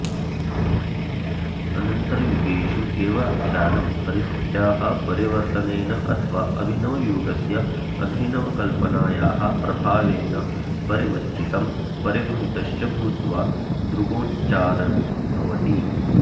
अनन्तरयुगेषु एव आख्यानं परिस्थित्याः परिवर्त्तनेन अथवा अभिनवयुगस्य अभिनवकल्पनायाः प्रभावेण परिवत्तितं परिबृंहितश्च भूत्वा दृग्गोचरं भवति